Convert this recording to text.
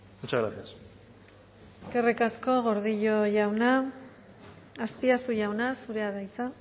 muchas gracias eskerrik asko gordillo jauna azpiazu jauna zurea da hitza